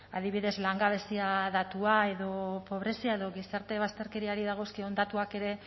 adibidez langabezia datua edo pobrezia edo gizarte bazterkeriari dagozkion datuak ere